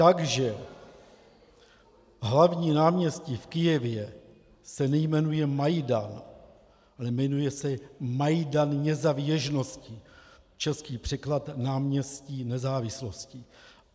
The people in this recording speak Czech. Takže hlavní náměstí v Kyjevě se nejmenuje Majdan, ale jmenuje se Majdan Nězavěžnosti , český překlad náměstí Nezávislosti.